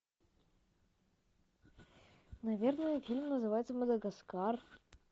наверное фильм называется мадагаскар